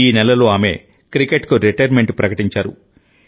ఈ నెలలో ఆమె క్రికెట్కు రిటైర్మెంట్ ప్రకటించారు